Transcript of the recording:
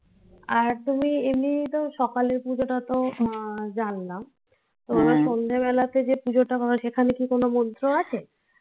আর তুমি এমনিই তো সকালের পুজোটা তো আহ জানলাম সন্ধ্যে বেলাতে যে পুজোটা কর সেখানে কী কোনো মন্ত্র আছে?